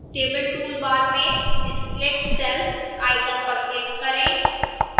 table toolbar में split cells icon पर click करें